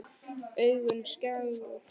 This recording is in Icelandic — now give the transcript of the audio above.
Augun segull.